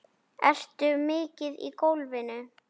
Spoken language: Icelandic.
Ertu mikið í golfinu?